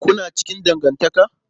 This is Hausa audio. Kuna cikin dangantaka?